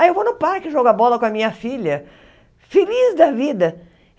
Aí eu vou no parque jogar bola com a minha filha, feliz da vida.